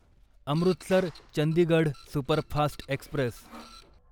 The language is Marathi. Amritsar Chandigarh superfast Express